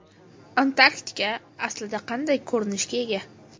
Antarktida aslida qanday ko‘rinishga ega?.